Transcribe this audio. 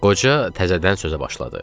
Qoca təzədən sözə başladı.